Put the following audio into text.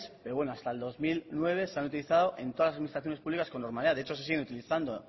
pero bueno hasta el dos mil nueve se han utilizado en todas las administraciones públicas con normalidad de hecho se siguen utilizando